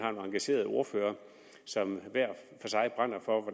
engagerede ordførere som hver for sig brænder for